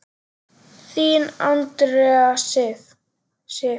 Þín, Andrea Sif.